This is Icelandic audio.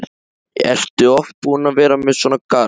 Ertu oft búin að vera með svona garð?